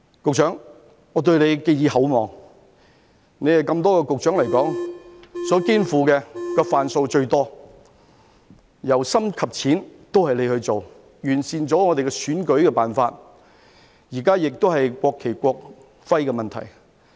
局長，我對你寄以厚望，以多位局長來說，你所肩負的"瓣數"最多，由深到淺都是由你去做，完善了我們的選舉辦法，現在是國旗、國徽的問題。